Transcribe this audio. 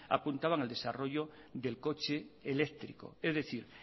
apuntaban al desarrollo del coche eléctrico es decir